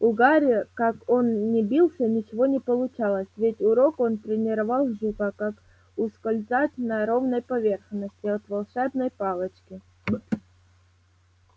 у гарри как он ни бился ничего не получалось весь урок он тренировал жука как ускользать на ровной поверхности от волшебной палочки